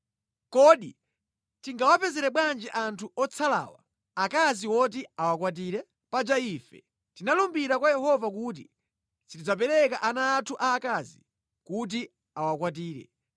Kodi tingawapezere bwanji anthu otsalawa akazi woti awakwatire? Paja ife tinalumbira kwa Yehova kuti sitidzapereka ana anthu aakazi kuti awakwatire.